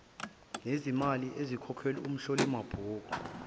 nezimali ezikhokhelwa umhlolimabhuku